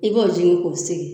I b'o jigin k'o sigi.